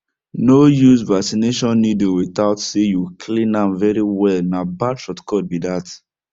no use vaccination needle without say you clean am very well na bad shortcut be that